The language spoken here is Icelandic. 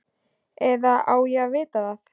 Eða á ég að vita það?